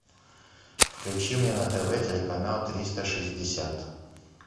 включи мне на тв телеканал триста шестьдесят